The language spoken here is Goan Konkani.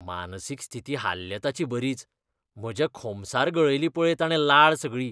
मानसीक स्थिती हाल्ल्या ताची बरीच, म्हज्या खोमसार गळयली पळय ताणें लाळ सगळी.